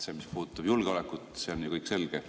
Mis puudutab julgeolekut, see on ju kõik selge.